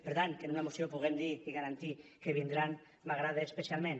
per tant que en una moció puguem dir i garantir que vindran m’agrada especialment